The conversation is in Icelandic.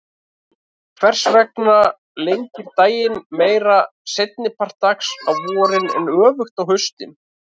Hvers vegna lengir daginn meira seinni part dags á vorin en öfugt á haustin?